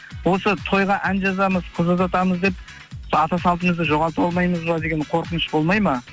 осы тойға ән жазамыз қыз ұзатамыз деп сол ата салтымызды жоғалтып алмаймыз ба деген қорқыныш болмайды ма